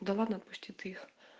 да ладно отпусти ты их